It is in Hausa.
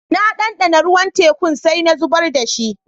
Na dandana ruwan tekun sai na zubar da shi.